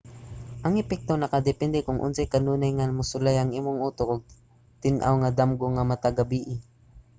ang epekto nakadepende kon unsa ka kanunay nga mosulay ang imong utok og tin-aw nga damgo matag gabii